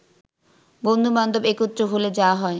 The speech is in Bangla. বন্ধুবান্ধব একত্র হলে যা হয়